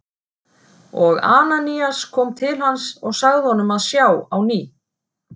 Og Ananías kom til hans og sagði honum að sjá á ný.